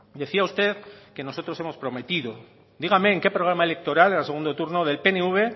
decía usted que nosotros hemos prometido dígame en qué programa electoral en el segundo turno del pnv